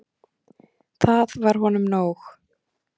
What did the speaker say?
Það var honum nóg.